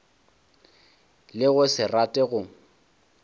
le go se rate go